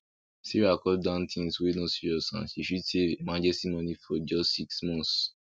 sarah cut down things wey no serious and she fit save emergency money for just six months